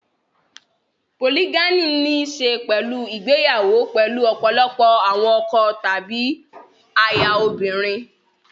Polygyny ní í ṣe pẹ̀lú ìgbéyàwó pẹ̀lú ọ̀pọ̀lọpọ̀ àwọn ọkọ tàbí aya obìnrin.